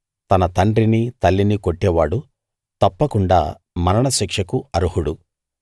తన తండ్రిని తల్లిని కొట్టేవాడు తప్పకుండా మరణశిక్షకు అర్హుడు